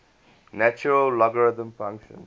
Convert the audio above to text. natural logarithm function